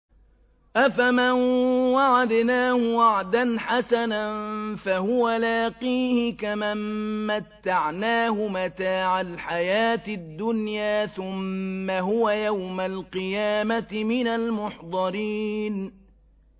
أَفَمَن وَعَدْنَاهُ وَعْدًا حَسَنًا فَهُوَ لَاقِيهِ كَمَن مَّتَّعْنَاهُ مَتَاعَ الْحَيَاةِ الدُّنْيَا ثُمَّ هُوَ يَوْمَ الْقِيَامَةِ مِنَ الْمُحْضَرِينَ